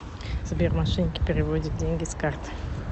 сбер мошенники переводят деньги с карты